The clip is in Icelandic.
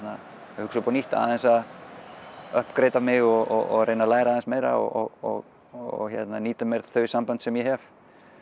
hugsa upp á nýtt aðeins að a mig og læra aðeins meira og nýta þau sambönd sem ég hef